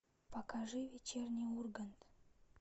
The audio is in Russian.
покажи вечерний ургант